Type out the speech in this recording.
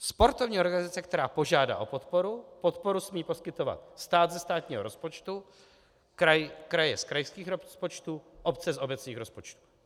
Sportovní organizace, která požádá o podporu, podporu smí poskytovat stát ze státního rozpočtu, kraje z krajských rozpočtů, obce z obecních rozpočtů.